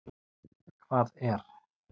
Hvað er.